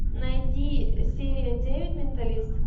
найди серия девять менталист